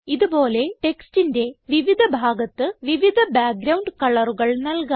ഇത് പോലെ ടെക്സ്റ്റിന്റെ വിവിധ ഭാഗത്ത് വിവിധ ബാക്ക്ഗ്രൌണ്ട് കളറുകൾ നല്കാം